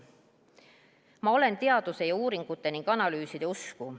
Ma olen teaduse ja uuringute ning analüüside usku.